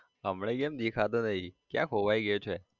હમણાથી કેમ દેખાતો નહી, ક્યાં ખોવાઈ ગયો છે?